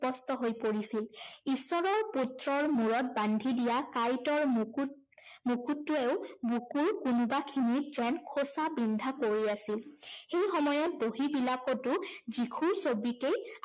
স্পষ্ট হৈ পৰিছিল। ঈশ্বৰৰ পুত্ৰৰ মূৰত বান্ধি দিয়া কাঁইটৰ মুকুট, মুকুটটোৱেও বুকুৰ কোনোবাখিনিত যেন খোচা বিন্ধা কৰি আছিল। সেই সময়ত বহীবিলাকতো যীশুৰ ছবিকেই